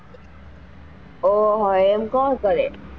ઓહો એમ કોણ કરે?